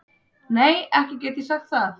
Nei ekki get ég sagt það.